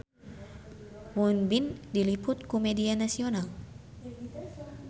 Won Bin diliput ku media nasional